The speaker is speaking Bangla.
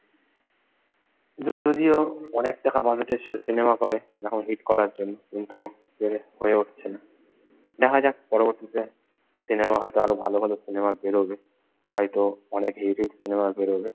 যদিও অনেক টাকা বাজেটের সিনেমা করে এখন হিট করার জন্য কিন্তু পেরে হয়ে উঠছে না। দেখা যাক পরবর্তীতে সিনেমা হয়তো আরও ভালো ভালো সিনেমা বেরোবে হয়তো অনেক হিট হিট সিনেমা বেরোবে।